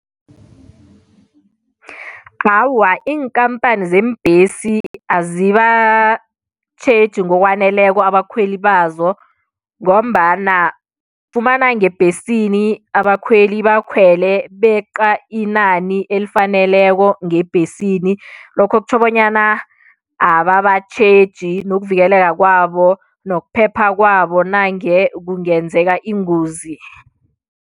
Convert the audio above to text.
Awa iinkampani zeembesi azibatjheji ngokwaneleko abakhweli bazo ngombana ufumana ngebhesini abakhweli bakhwele beqa inani elifaneleko ngebhesini lokho kutjho bonyana ababatjheji nokuvikeleka kwabo nokuphepha kwabo nange kungenzeka ingozi.